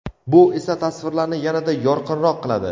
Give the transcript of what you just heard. bu esa tasvirlarni yanada yorqinroq qiladi.